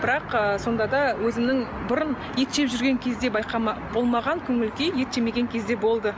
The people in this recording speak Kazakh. бірақ ы сонда да өзімнің бұрын ет жеп жүрген кезде болмаған көңіл күй ет жемеген кезде болды